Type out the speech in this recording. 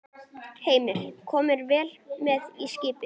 Heimir: Komnir vel með í skipið?